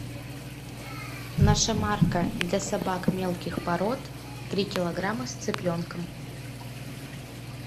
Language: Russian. наша марка для собак мелких пород три килограмма с цыпленком